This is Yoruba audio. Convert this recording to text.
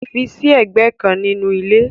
Fi sí ẹ̀gbẹ́ kan nínú ilé.